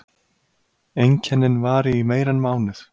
Einkennin vari í meira en mánuð.